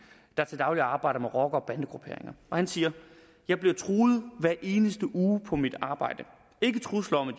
der til daglig arbejder med rocker bande grupperinger og han siger jeg bliver truet hver eneste uge på mit arbejde ikke trusler om at